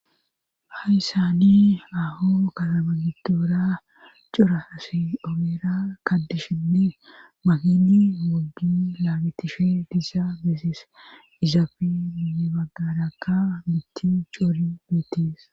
ha issani aho katabagidoora cora hasi omera kadishinne mahini hogdi laagitishe diisaa beeses izaafi mini baggadakka mitti coori beetis